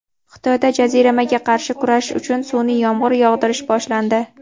Xitoyda jaziramaga qarshi kurashish uchun sunʼiy yomg‘ir yog‘dirish boshlandi.